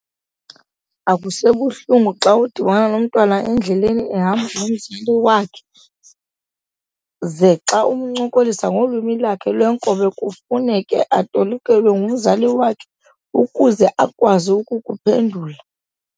Akusebuhlungu xa udibana nomntwana endleleni ehamba nomzali wakhe, ze xa umncokolisa ngolwimi lwakhe lwenkobe kufuneke etolikelwe ngumzali wakhe ukuze akwazi ukukuphendula .